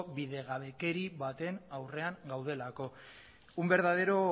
bidegabekeri baten aurrean gaudelako un verdadero